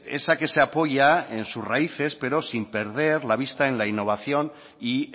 esa que se apoya en sus raíces pero sin perder la vista en la innovación y